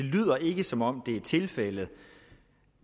det lyder ikke som om det er tilfældet